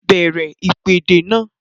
Bẹ̀rẹ̀ ìpèdè náà!